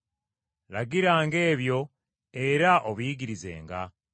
Lagiranga ebyo, era obiyigirizenga.